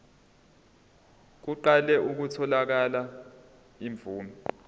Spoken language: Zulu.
kuqale kutholakale imvume